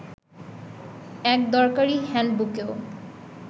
এক দরকারি হ্যান্ডবুকেও